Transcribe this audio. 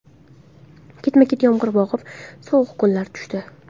Ketma-ket yomg‘ir yog‘ib, sovuq kunlar tushdi.